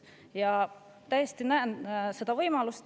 Ja ma täiesti näen, et see on võimalik.